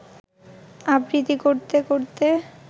আবৃত্তি করতে করতে